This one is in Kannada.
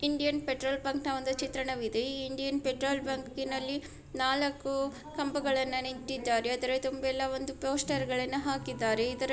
ಇಂಡಿಯನ್ ಪೆಟ್ರೋಲ್ ಬಂಕ್ ನ ಒಂದು ಚಿತ್ರಣವಿದೆ ಈ ಇಂಡಿಯನ್ ಪೆಟ್ರೋಲ್ ಬಂಕ್ ನಲ್ಲಿ ನಾಲ್ಕೂ ಕಂಬಗಳನು ನೆಟ್ಟಿದರೆ ಅದರ ತುಂಬೆಲ ಒಂದು ಪೋಸ್ಟರ್ ಗಳನು ಹಾಕಿದ್ದಾರೆ. ಇದರ--